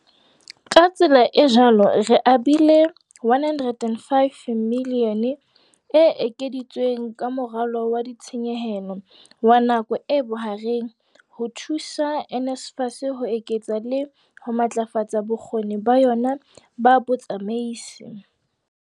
Ka tsela e jwalo re abile R105 miliyone e ekeditsweng ka Moralo wa Ditshenyehelo wa Nako e Bohareng ho thusa NSFAS ho eketsa le ho matlafatsa bokgoni ba yona ba botsamaisi.